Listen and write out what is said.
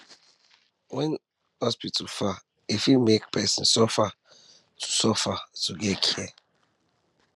when hospital far e fit make person suffer to get suffer to get care